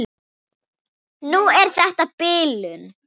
Núna er þetta bilun.